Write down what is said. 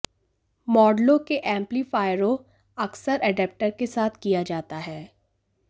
मॉडलों के एम्पलीफायरों अक्सर एडेप्टर के साथ किया जाता है